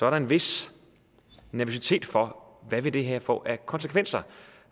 er en vis nervøsitet for hvad det her vil få af konsekvenser